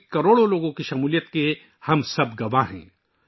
اس میں کروڑوں لوگوں کی شراکت کے ہم سب گواہ ہیں